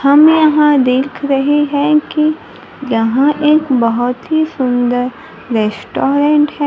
हम यहां देख रहे हैं कि यहां एक बहोत ही सुंदर रेस्टोरेंट है।